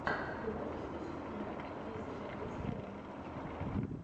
ты можешь включить кино актриса шарлиз терон